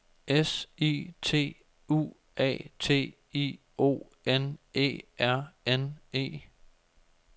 S I T U A T I O N E R N E